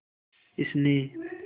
इसने